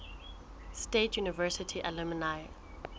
state university alumni